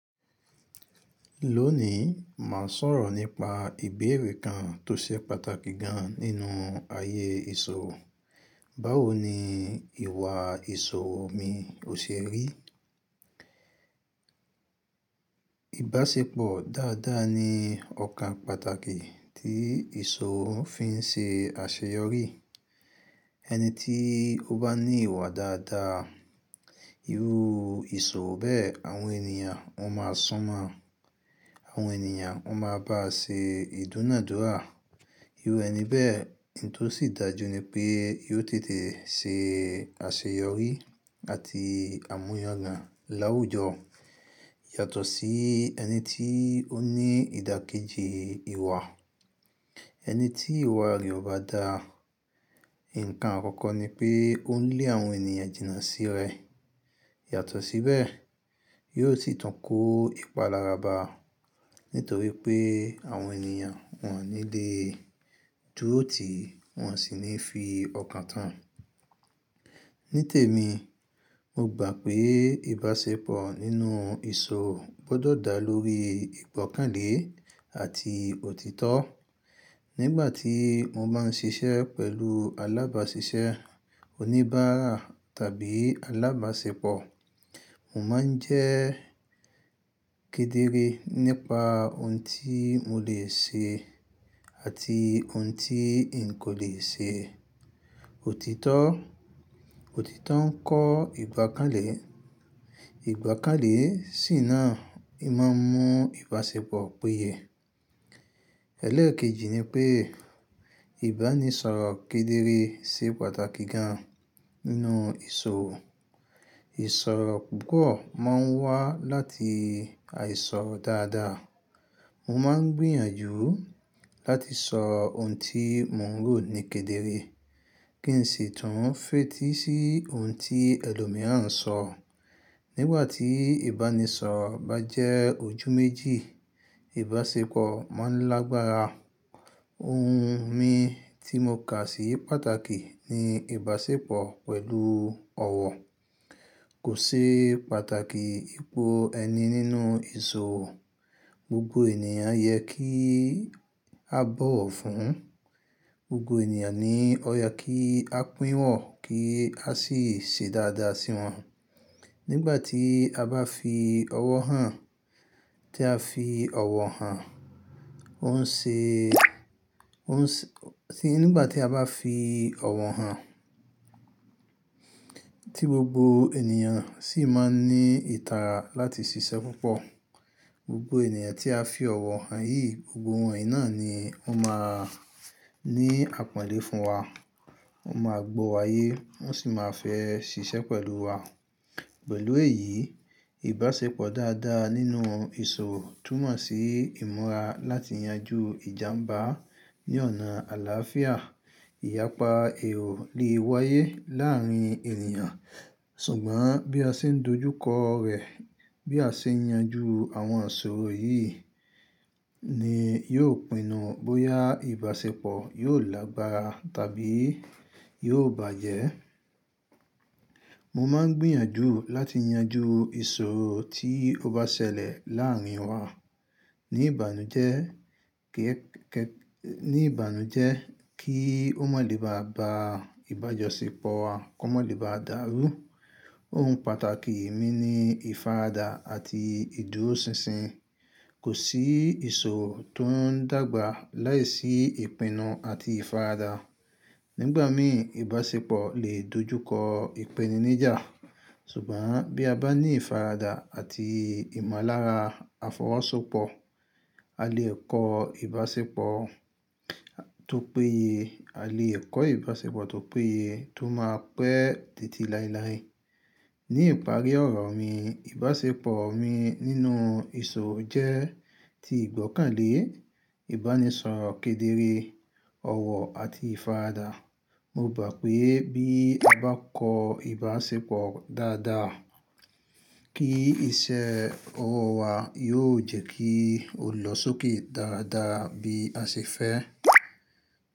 Lónìí, màá sọ̀rọ̀ nípa ìbéèrè kan tó ṣe pàtàkì gan nínú ayé ìṣò. Báwo ni ìwà ìṣò mi ò ṣe rí? Ìbáṣepọ̀ dáadáa ni ọ̀kan pàtàkì tí ìṣò ń fi ṣe àṣeyọrí. Ẹni tí ó bá ní ìwà dáadáa, irú ìṣò bẹ́ẹ̀, àwọn ènìyàn wọn máa sun mo. Àwọn ènìyàn wọn máa bá ṣe ìdúnàádúrà. Irú ẹni bẹ́ẹ̀, ohun tó sì dájú ni pé yóò tètè ṣe àṣeyọrí àti àmúyagàn láwùjọ, yàtọ̀ sí ẹni tí ó ní ìdàkejì ìwà. Ẹni tí ìwà rẹ̀ ò bá dá, ǹkan àkọ́kọ́ ni pé ó ń lé àwọn ènìyàn jìnnà sí rẹ̀. Yàtọ̀ síbẹ̀, yóò sì tún kó ipalára ba, nítorí pé àwọn ènìyàn wọ́n ò ní le dúró tì wọ́n sì ní fi ọkàn tán. Nítèmi, mo gbà pé ìbáṣepọ̀ nínú ìṣòro gbọ́dọ̀ dá lórí ìgbọ́kànlé àti òtítọ́. Nígbà tí mo bá ń ṣiṣẹ́ pẹ̀lú alábáṣiṣẹ́, oníbàárà tàbí alábáṣepọ̀, mo máa ń jẹ́ kedere nípa ohun tí mo lè ṣe àti ohun tí n kò lè ṣe. Òtítọ́, òtítọ́ ń kọ́ ìgbọ́kànlé. Ìgbọ́kànlé sì náà, ó máa ń mú ìbáṣepọ̀ péye. Ẹlẹ́ẹ̀kejì ni pé ìbánisọ̀rọ̀ kedere ṣe pàtàkì gan nínú ìṣò. Ìṣorò púpọ̀ máa ń wá láti àìsọ̀ dáadáa. Mo máa ń gbìyànjú láti sọ ohun tí mò ń rò ní kedere, kí n sì tún fètí sí ohun tí ẹlòmíràn ń sọ. Nígbà tí ìbánisọ̀rọ̀ bá jẹ́ ojú méjì, ìbáṣepọ̀ máa ń lágbára. Ohun mi tí mo kà sí pàtàkì ni ìbáṣepọ̀ pẹ̀lú ọ̀wọ̀. Kò ṣe pàtàkì ipò ẹni nínú ìṣorò. Gbogbo ènìyàn yẹ kí a bọ̀wọ̀ fún. Gbogbo ènìyàn ni ó yẹ kí a pínwọ̀n kí a sì ṣe dáadáa sí wọn. Nígbà tí a bá fi ọ̀wọ̀ hàn, tí a fi ọ̀wọ̀ hàn, ó ń ṣe, ó ń ṣe, tí nígbà tí a bá fi ọ̀wọ̀ hàn, tí gbogbo ènìyàn sì máa ń ní ìtara láti ṣiṣẹ́ púpọ̀. Gbogbo ènìyàn tí a fi ọ̀wọ̀ hàn yìí, gbogbo wọn yìí náà ni wọ́n máa ní àpọ́nlé fún wa. Wọ́n máa gbọ́ wa yé, wọ́n sì máa fẹ́ ṣiṣẹ́ pẹ̀lú wa. Pẹ̀lú èyí, ìbáṣepọ̀ dáadáa nínú ìṣorò túmọ̀ sí ìmúra láti yanjú ìjàǹbá ní ọ̀nà àlàáfíà. Ìyapa èrò lè wáyé láàárín ènìyàn, ṣùgbọ́n bí a ṣe ń dojúkọ rẹ̀, bí a ṣe ń yanjú àwọn àṣòro yìí ni yóò pinnu bóyá ìbáṣepọ̀ yóò lágbára tàbí yóò bàjẹ́. Mo máa ń gbìyànjú láti yanjú ìṣò tí ó bá ṣẹlẹ̀ láàárín wa ní ìbànújẹ́ kí, ní ìbànújẹ́ kí ó má lè bá ba ìbájọ̀ṣepọ̀ wa kó má lè bá dàrú. Ohun pàtàkì mi ni ìfaradà àti ìdúróṣinṣin. Kò sí ìṣò tó ń dàgbà láìsí ìpinnu àti ìfaradà. Nígbà mìí, ìbáṣepọ̀ lè dojúkọ ìpéniníjà, ṣùgbọ́n bí a bá ní ìfaradà àti ìmọ̀lára àfọwọ́sọpọ̀, a lè kọ ìbáṣepọ̀ tó péye. A lè kọ ìbáṣepọ̀ tó péye tó máa pẹ́ tètè láéláé. Ní ìparí ọ̀rọ̀ mi, ìbáṣepọ̀ mi nínú ìṣò jẹ́ ti ìgbọ́kànlé, ìbánisọ̀rọ̀ kedere, ọ̀wọ̀ àti ìfaradà. Mo gbà pé bí a bá kọ ìbáṣepọ̀ dáadáa, kí iṣẹ́ ọwọ́ wa yóò jẹ́ kí ó lọ sókè dáadáa bí a ṣe fẹ́.